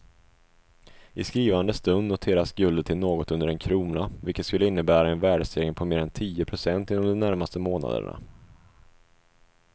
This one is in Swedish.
I skrivande stund noteras guldet i något under en krona vilket skulle innebära en värdestegring på mer än tio pocent inom de närmaste månaderna.